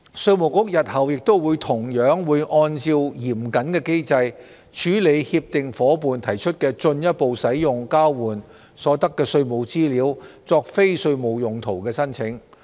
稅務局日後亦同樣會按照嚴謹的機制，處理協定夥伴提出進一步使用交換所得的稅務資料作非稅務用途的申請。